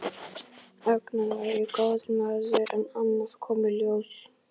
Agnar væri góður maður en annað kom í ljós.